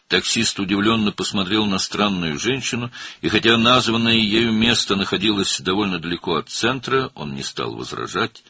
Taksi qəribə qadına təəccüblə baxdı və baxmayaraq ki, onun qeyd etdiyi yer mərkəzdən xeyli uzaqda idi, etiraz etmədi.